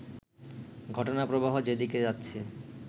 ঘটনাপ্রবাহ যেদিকে যাচ্ছে